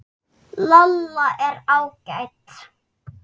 Lolla er ágæt.